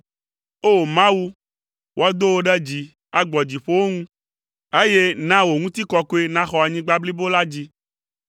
O! Mawu, woado wò ɖe dzi agbɔ dziƒowo ŋu, eye na wò ŋutikɔkɔe naxɔ anyigba blibo la dzi.